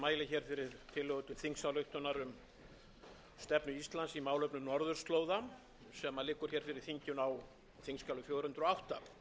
til þingsályktunar um stefnu íslands í málefnum norðurslóða sem liggur fyrir þinginu á þingskjali fjögur hundruð og átta